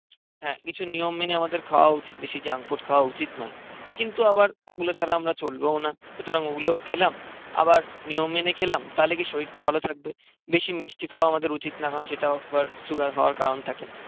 হ্যাঁ কিছু নিয়ম মেনে আমাদের খাওয়া উচিত বেশি জাঙ্কফুড খাওয়া উচিত না কিন্তু আবার ওগুলো ছাড়া আমরা চলবোও না. সুতরাং ওগুলোও খেলাম. আবার নিয়ম মেনে খেলাম. তাহলে কি শরীরটা ভালো থাকবে বেশি মিষ্টি খাওয়া আমাদের উচিত না কারণ সেটাও আবার সুগার হওয়ার কারণ থাকে.